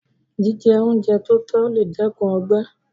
Jíjẹ oúnjẹ tótọ́ lè dẹ́kun ọgbẹ́